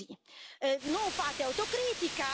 Però, devo dire, davvero continuate così!